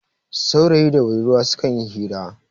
saurayi da budurwa sukan yi hira